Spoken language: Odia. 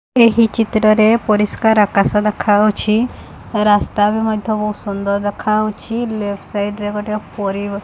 ଏହି ଚିତ୍ରରେ ପରିଷ୍କାର ଆକାଶ ଦେଖାଯାଉଛି ରାସ୍ତା ବି ମଧ୍ୟ ବହୁତ୍ ସୁନ୍ଦର ଦେଖାଯାଉଛି ଲେଫ୍ଟ ସାଇଡ୍ ରେ ଗୋଟେ ପରିବା --